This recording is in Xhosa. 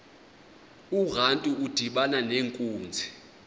urantu udibana nenkunzi